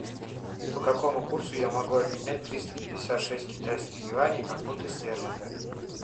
по какому курсу я могу обменять триста пятьдесят шесть китайских юаней на фунты стерлинга